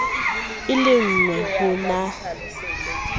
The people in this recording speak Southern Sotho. e le engwe ho na